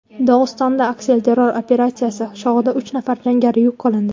Dog‘istonda aksilterror operatsiyasi chog‘ida uch nafar jangari yo‘q qilindi.